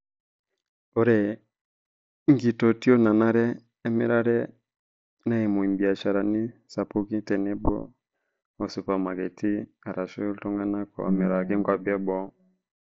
Ore nkititoi naanare emirare neimu irbiasharani sapuki tenebo oo supermaketi arashu iltung'ana omiraki nkwapi eboo.